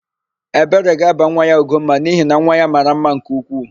Ebere ga-aba nwa ya Ugomma n'ihi na nwa ya mara mma nke ukwuu.